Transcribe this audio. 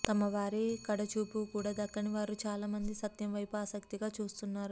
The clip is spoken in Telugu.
తమ వారి కడ చూపు కూడా దక్కని వారు చాలా మంది సత్యం వైపు ఆసక్తిగా చూస్తున్నారు